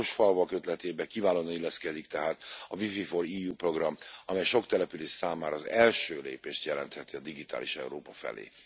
Az okos falvak ötletébe kiválóan illeszkedik tehát a WiFi4EU program, amely sok település számára az első lépést jelentheti a digitális Európa felé.